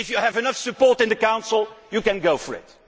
If you have enough support in the Council, you can go for